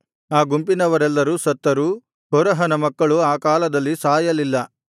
ಆ ಗುಂಪಿನವರೆಲ್ಲರು ಸತ್ತರೂ ಕೋರಹನ ಮಕ್ಕಳು ಆ ಕಾಲದಲ್ಲಿ ಸಾಯಲಿಲ್ಲ